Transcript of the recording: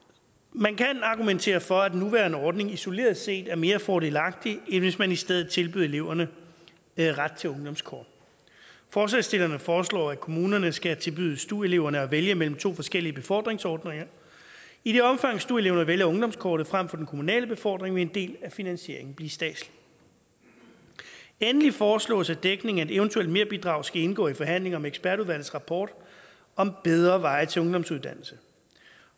man kan argumentere for at den nuværende ordning isoleret set er mere fordelagtig end hvis man i stedet tilbød eleverne ret til ungdomskort forslagsstillerne foreslår at kommunerne skal tilbyde stu eleverne at vælge mellem to forskellige befordringsordninger i det omfang stu eleverne vælger ungdomskortet frem for den kommunale befordring vil en del af finansieringen blive statslig endelig foreslås det at dækningen af et eventuelt merbidrag skal indgå i forhandlinger om ekspertudvalgets rapport om bedre veje til ungdomsuddannelsen